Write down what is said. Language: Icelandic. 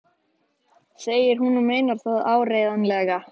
segir hún og meinar það áreiðanlega.